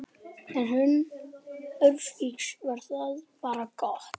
Yrði hún ófrísk var það bara gott.